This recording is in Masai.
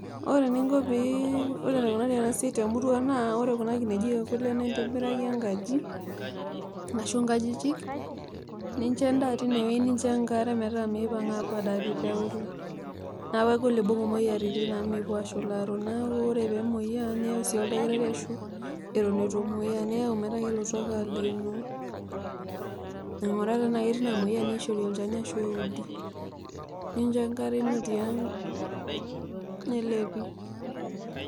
Ore eninko pee, ore enikunari enasiai temurua naa ore kuna kinejik ekule naa intobiraki enkaji ashu nkajijik ninchoo endaa tinewueji ashu nkajijik tiauluo, neaku kegol peibung moyiaritin amu mepuo ashularo, neaku ore pemoku apuo niyau sii oldakitari atan itumoyu niyau sii ainguraa anaa ketii namoyia peishori olchani ashu eudi, nincho enkare ino tiang nelepi.